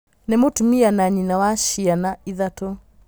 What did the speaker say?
Nĩ mũtumia na nyina wa cĩ ana ithatũ.